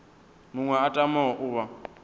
muṅwe a tamaho u vha